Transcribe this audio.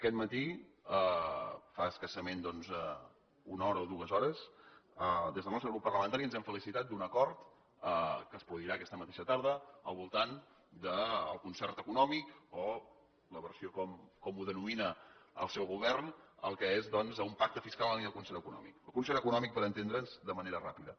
aquest matí fa escassament doncs una hora o dues hores des del nostre grup parlamentari ens hem felicitat d’un acord que es produirà aquesta mateixa tarda al voltant del concert econòmic o en la versió com ho denomina el seu govern el que és doncs un pacte fiscal en la línia del concert econòmic el concert econòmic per entendre’ns de manera ràpida